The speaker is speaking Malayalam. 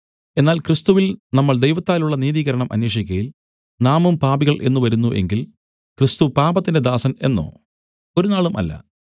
എന്നാൽ ക്രിസ്തുവിൽ നമ്മൾ ദൈവത്താലുള്ള നീതീകരണം അന്വേഷിക്കയിൽ നാമും പാപികൾ എന്നു വരുന്നു എങ്കിൽ ക്രിസ്തു പാപത്തിന്റെ ദാസൻ എന്നോ ഒരുനാളും അല്ല